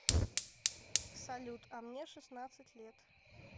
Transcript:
салют а мне шестнадцать лет